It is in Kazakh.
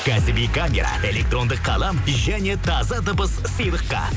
кәсіби электрондық қалам және таза дыбыс сыйлыққа